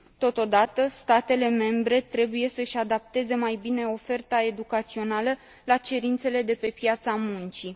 Totodată, statele membre trebuie să își adapteze mai bine oferta educațională la cerințele de pe piața muncii.